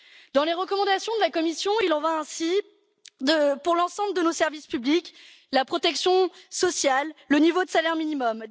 Dans les recommandations de la Commission, il en va ainsi pour l'ensemble de nos services publics la protection sociale, le niveau de salaire minimum...